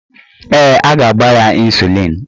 Ee, a ga-agba ya ịnsulịn